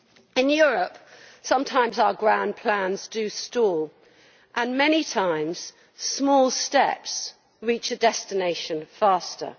In Europe, sometimes our grand plans do stall, and many times small steps reach a destination faster.